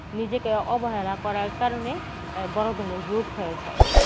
নিজেকে অবহেলা করার কারণে বড়ধরনের রোগ হয়ে যায়